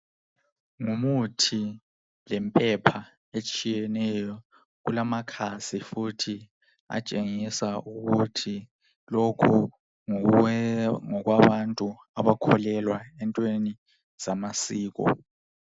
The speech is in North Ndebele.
Ngumuthi lempepha etshiyeneyo kulamakhasi futhi atshengisa ukuthi lokhu ngokwabantu abakholelwa entweni zamasiko.